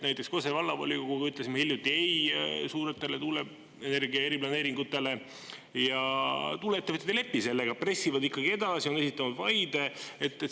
Näiteks Kose Vallavolikoguga ütlesime hiljuti ei suuretele energia eriplaneeringutele ja tuuleettevõtjad ei lepi sellega, pressivad ikkagi edasi, on esitanud vaide.